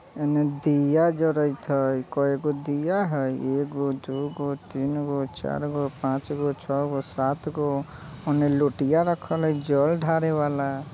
एन्ने दिया जरत हई कएगो दिया हई एगो दुगो तीनगो चारगो पाँचगा छगो सातगो ओन्ने लोटिया रखल हई जल ढारे वाला।